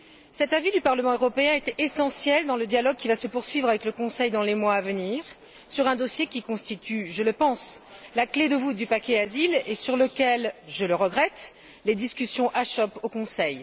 Cet avis du Parlement européen est essentiel dans le dialogue qui va se poursuivre avec le Conseil dans les mois à venir sur un dossier qui constitue, je pense, la clé de voûte du paquet asile et sur lequel je le regrette les discussions achoppent au Conseil.